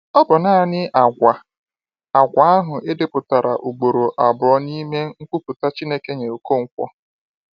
Ọ bụ naanị àgwà àgwà ahụ e depụtara ugboro abụọ n’ime nkwupụta Chineke nye Okonkwo.